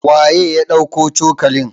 waye ya tafi dauko cokalin?